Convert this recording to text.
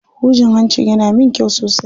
Hujin hancin yana min kyau sosai.